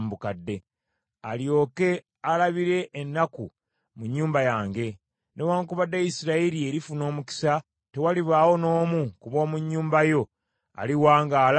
olyoke olabire ennaku mu nnyumba yange. Newaakubadde Isirayiri erifuna omukisa, tewalibaawo n’omu ku b’omu nnyumba yo aliwangaala n’akaddiwa.